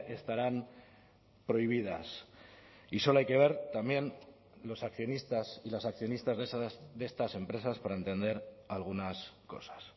estarán prohibidas y solo hay que ver también los accionistas y las accionistas de estas empresas para entender algunas cosas